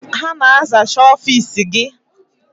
Ha na-azacha ọfiisi gị?